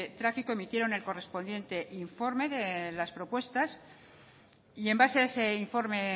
tráfico emitieron el correspondiente informe de las propuestas y en base a ese informe